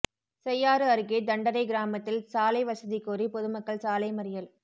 செய்யாறு அருகே தண்டரை கிராமத்தில் சாலை வசதி கோரி பொதுமக்கள் சாலை மறியல்